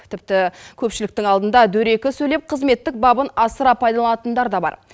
тіпті көпшіліктің алдында дөрекі сөйлеп қызметтік бабын асыра пайдаланатындар да бар